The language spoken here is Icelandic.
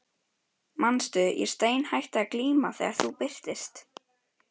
Manstu, ég steinhætti að glíma þegar þú birtist.